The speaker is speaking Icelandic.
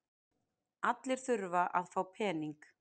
Allir þurfa að fá peninga.